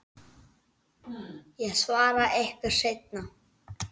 Ég svara ykkur seinna.